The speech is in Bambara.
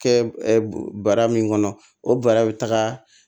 Kɛ bara min kɔnɔ o bara bɛ taga